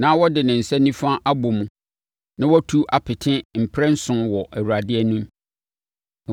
na ɔde ne nsa nifa abɔ mu, na watu apete mprɛnson wɔ Awurade anim.